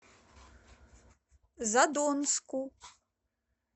задонску